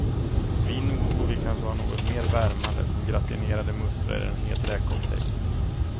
Vi nordbor vill kanske ha något mer värmande, som gratinerade musslor eller en het räkcocktail.